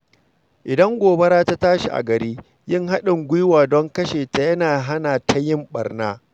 Idan gobara ta tashi a gari, yin haɗin gwiwa don kashe ta yana hana ta yin ɓarna.